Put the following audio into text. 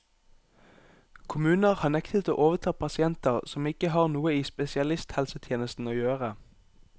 Kommuner har nektet å overta pasienter som ikke har noe i spesialisthelsetjenesten å gjøre.